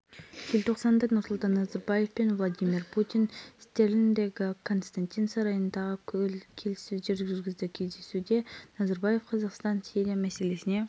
кейініректе владимир путин иран ислам республикасының президенті хасан руханимен телефон арқылы сөйлесіп сириядағы жағдайға арналған келіссөздерді